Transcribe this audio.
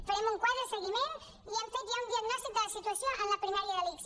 farem un quadre de seguiment i hem fet ja un diagnòstic de la situació en la primària de l’ics